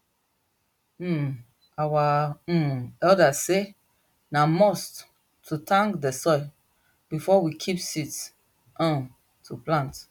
um our um elders say na must to thank dey soil before we keep seeds um to plant